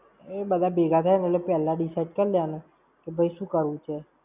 એ બધા ભેગા થાય મતલબ પેલા decide કર લેવાના, કે ભૈ શું કરવું છે?